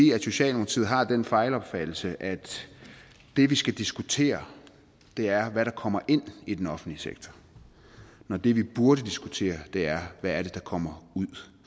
socialdemokratiet har jo den fejlopfattelse at det vi skal diskutere er hvad der kommer ind i den offentlige sektor når det vi burde diskutere er hvad der kommer ud